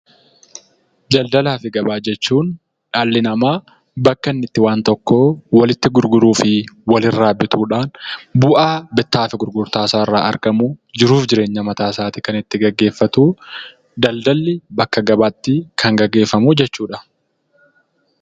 Daladalaa fi gabaa jechuun dhalli namaa bakka inni itti waan tokko walitti gurguruu fi walirraa bituudhaan bu'aa bittaa fi gurgurtaa isaarraa argamuun jiruu fi jireenya mataasaa kan itti gaggeeffatu daldalli bakka gabaatti kan gaggeeffamu jechuudha